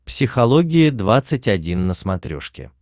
психология двадцать один на смотрешке